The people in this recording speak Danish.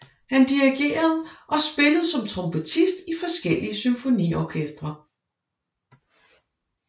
Han dirigerede og spillede som trompetist i forskellige symfoniorkestre